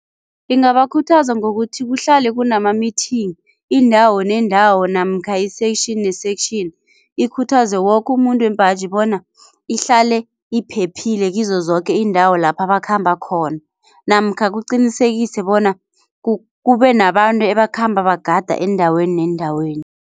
Ingabakhuthaza ngokuthi kuhlale kunama-meeting indawo nendawo namkha i-section ne-section ikhuthaze woke umuntu wembaji bona ihlale iphephile kizo zoke iindawo lapha bakhamba khona namkha kuqinisekise bona kube nabantu ebakhamba bagada eendaweni neendaweni.